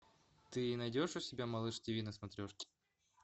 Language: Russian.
ты найдешь у себя малыш тв на смотрешке